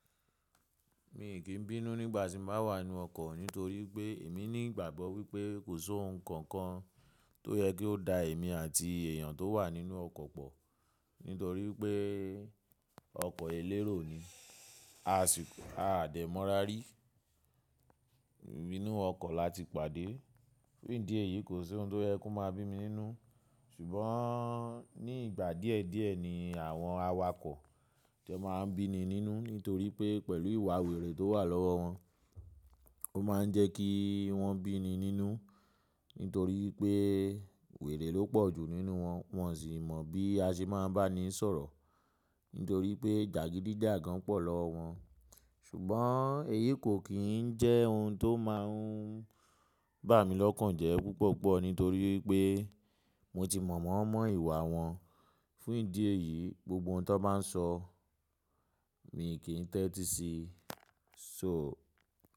Mi kì n bínú nígbà tí mo bá wà nínú ọkọ̀ nítorí pé èmi ní ìgbàgbọ́ wípé kò sí ohun kankan tó yẹ kí ó da èmi àti èèyàn tó wà nínú ọkọ̀ pọ̀. Nítorí pé ọkọ̀ elérò ni, a sì, a dẹ̀ mọ́ra rí inú ọkọ̀ láti pàdé. Fún ìdí èyí kò sí ohun tó yẹ kí ó máa bí mi nínú. Ṣùgbọ́n ní ìgbà díẹ̀ díẹ̀ ni àwọn awakọ̀ tí ẹ máa ń bí ni nínú nítorí pé pẹ̀lú ìwà wèrè tó wà lọ́wọ́ wọn, ó máa ń jẹ kí wọ́n bíni nínú, nítorí pé wèrè ló pọ̀jù nínú wọn, wọn sì mọ̀ bí a ṣe máa ń bá ni sọ̀rọ̀, nítorí pé jàgídíjàgan pọ̀ lọ́wọ́ wọn. Ṣùgbọ́n èyí kò kì njẹ́ ohun tó máa ń bá mi lọ́kàn jẹ́ púpọ̀pọ̀ nítorí pé mo ti mọ̀ won mọ̀ ìwà wọn. Fún ìdí èyí, gbogbo ohun tan bá ń sọ mi kì í tẹ́tí sí i. So.